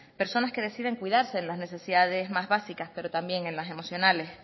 personas que deciden cuidarse en las necesidades más básicas pero también en las emocionales